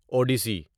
Odissi